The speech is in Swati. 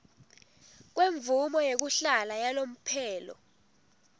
kwemvumo yekuhlala yalomphelo